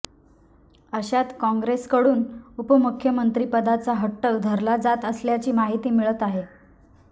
अशात काँग्रेसकडून उपमुख्यमंत्रिपदाचा हट्ट धरला जात असल्याची माहिती मिळत आहे